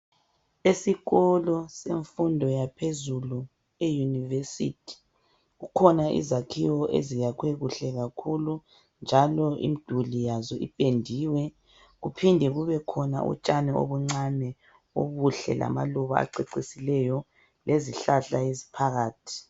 Esikolo semfundo yaphezùu eyunivesithi kukhona izakhiwo ezakhiwe kuhle kakhulu njalo imiduli yazo ipendiwe. Kulotshani obuncane obuhle obucecisileyo, amaluba lezihlahla eziphakathi.